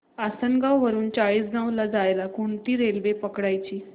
आसनगाव वरून चाळीसगाव ला जायला कोणती रेल्वे पकडायची